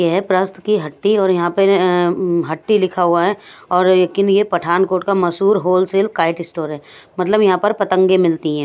यह है प्रस्त की हट्टी और यहां पर अं म्म हट्टी लिखा हुआ है और लेकिन यह पठानकोट का मशहूर होलसेल काइट स्टोर है मतलब यहां पर पतंगे मिलती हैं।